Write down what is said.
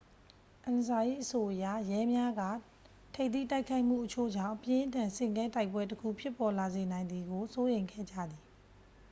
"အန်ဆာ၏အဆိုအရ ရဲများက ထိပ်သီးတိုက်ခိုက်မှုအချို့ကြောင့် အပြင်းအထန်ဆင့်ကဲတိုက်ပွဲတစ်ခု ဖြစ်ပေါ်လာစေနိုင်သည်ကို စိုးရိမ်ခဲ့ကြသည်။